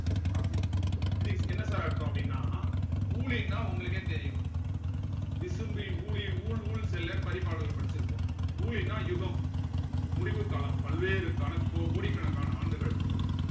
அப்படி இது என்ன sir அர்த்தம் அப்படின்னா ஊழின்னா உங்களுக்கே தெரியும் விசும்பி ஊழி ஊழ் ஊழ் செல்லனு பரிபாடல்ல படிச்சிருப்போம் ஊழின்னா யுகம் முடிவு காலம் பல்வேறுக்கான கோ கோடிக்கணக்கான ஆண்டுகள்